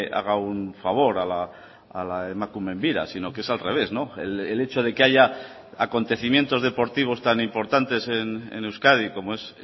haga un favor a la emakumeen bira sino que es al revés el hecho de que haya acontecimientos deportivos tan importantes en euskadi como es